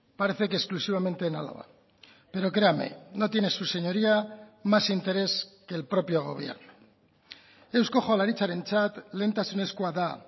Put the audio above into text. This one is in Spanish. parece que exclusivamente en álava pero créame no tiene su señoría más interés que el propio gobierno eusko jaurlaritzarentzat lehentasunezkoa da